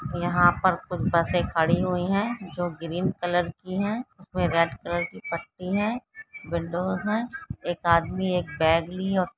यहाँ पर कुछ बसे खड़ी हुई है जो ग्रीन कलर की है उसमे रेड कलर की पट्टी है विंडोज है एक आदमी एक बैग लि